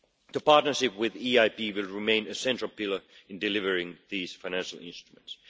The partnership with the EIB will remain a central pillar in delivering these financial instruments.